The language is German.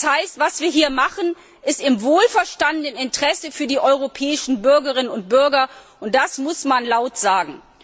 Das heißt, was wir hier machen, ist im wohlverstandenen Interesse für die europäischen Bürgerinnen und Bürger, und das muss man laut sagen.